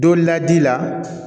Don laji la